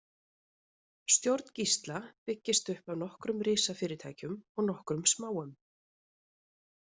Stjórn Gísla byggist upp af nokkrum risafyrirtækjum og nokkrum smáum.